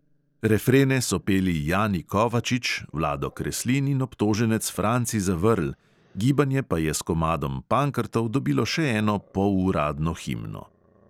Refrene so peli jani kovačič, vlado kreslin in obtoženec franci zavrl, gibanje pa je s komadom pankrtov dobilo še eno poluradno himno.